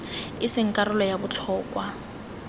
e seng karolo ya botlhokwa